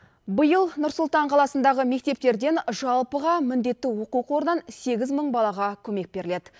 биыл нұр сұлтан қаласындағы мектептерден жалпыға міндетті оқу қордан сегіз мың балаға көмек беріледі